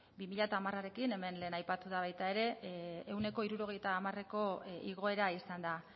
bi mila hamarrekin hemen lehen aipatu da baita ere ehuneko hirurogeita hamareko igoera izan da